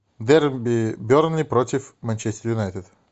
дерби бернли против манчестер юнайтед